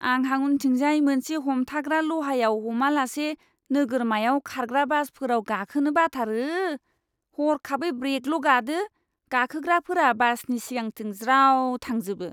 आंहा उनथिंजाय मोनसे हमथाग्रा लहायाव हमालासे नोगोरमायाव खारग्रा बासफोराव गाखोनो बाथारो। हरखाबै ब्रेकल' गादो, गाखोग्राफोरा बासनि सिगांथिं ज्राव थांजोबो!